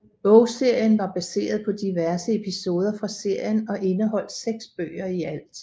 Bogserien var baseret på diverse episoder fra serien og indeholdt 6 bøger i alt